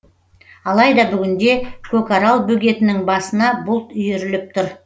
алайда бүгінде көкарал бөгетінің басына бұлт үйіріліп тұр